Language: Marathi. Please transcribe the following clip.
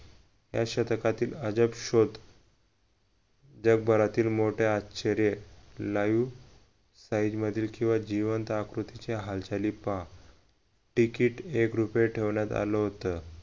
या शतकातील अजब शोध जगभरातील मो ठे आश्चर्य liveslide मधील किंवा जिवंत आकृतीचे हालचाली पहा तिकीट एक रुपये ठेवण्यात आलं होत